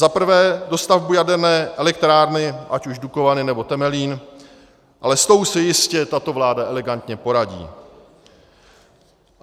Za prvé dostavbu jaderné elektrárny, ať už Dukovany, nebo Temelín, ale s tou si jistě tato vláda elegantně poradí.